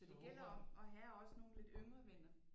Så det gælder om at have også nogle lidt yngre venner